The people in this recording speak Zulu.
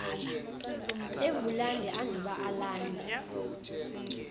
evulande anduba alande